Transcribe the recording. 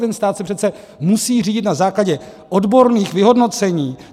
Ten stát se přece musí řídit na základě odborných vyhodnocení.